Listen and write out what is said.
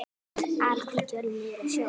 Alhvít jörð niður að sjó.